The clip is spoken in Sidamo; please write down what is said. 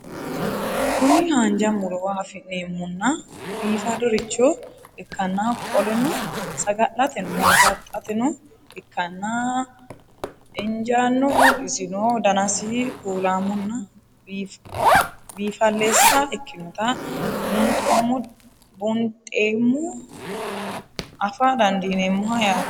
Kuni hanja murowa afine'mona bifadoricho ikana qoleno sagal'ateno hurbaxateno ikanna injanoho isino danasi kuulamonna bifalessa ikinota buunxemo afaa dandinemoha yaate